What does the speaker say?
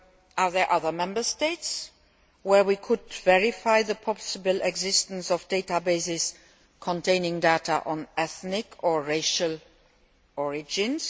case. Are there other Member States where we could verify the possible existence of databases containing data on ethnic or racial origins?